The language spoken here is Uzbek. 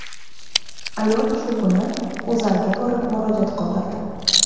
Ayol shu kuni O‘zAga borib, murojaat qoldirdi.